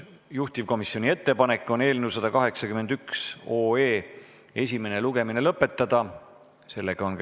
Juhtivkomisjoni ettepanek on eelnõu 181 esimene lugemine lõpetada.